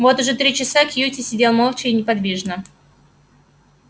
вот уже три часа кьюти сидел молча и неподвижно